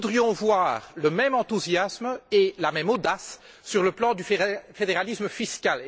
Nous voudrions voir le même enthousiasme et la même audace sur le plan du fédéralisme fiscal.